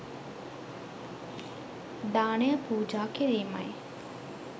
දානය පූජා කිරීමයි.